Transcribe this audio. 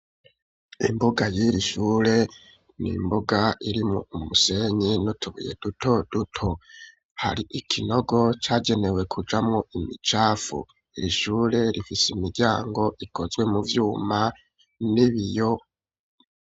Imbuga y'ir'ishure nimbuga iri mu musenyi no mu tubuye duto duto hari ikinogo cagenewe kujamo imicafu irishure rifise imiryango ikozwe mu vyuma nibiyo.